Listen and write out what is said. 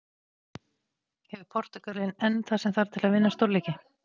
Hefur Portúgalinn enn það sem þarf til að vinna stórleiki?